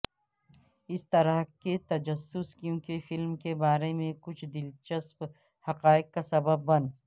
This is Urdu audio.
اس طرح کے تجسس کیونکہ فلم کے بارے میں کچھ دلچسپ حقائق کا سبب بن